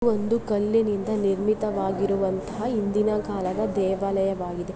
ಒಂದು ಕಲ್ಲಿನಿಂದ ನಿರ್ಮಿತವಾಗಿರುವಂತಹ ಹಿಂದಿನ ಕಾಲದ ದೇವಾಲಯವಾಗಿದೆ .